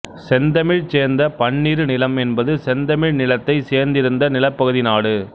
செந்தமிழ் சேர்ந்த பன்னிரு நிலம் என்பது செந்தமிழ் நிலத்தைச் சேர்ந்திருந்த நிலப்பகுதி நாடு